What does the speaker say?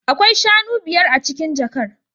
Akwai shanu biyar a cikin jakar